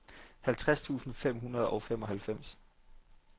halvtreds tusind fem hundrede og femoghalvfems